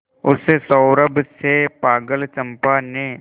उस सौरभ से पागल चंपा ने